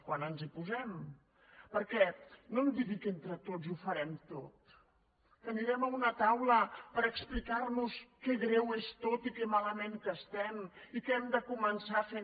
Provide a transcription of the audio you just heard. quan ens hi posem perquè no em digui que entre tots ho farem tot que anirem a una taula per explicar nos que greu que és tot i que malament que estem i que hem de començar fent